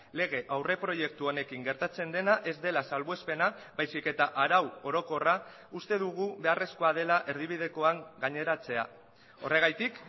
lege aurreproiektu honekin gertatzen dena ez dela salbuespena baizik eta arau orokorra uste dugu beharrezkoa dela erdibidekoan gaineratzea horregatik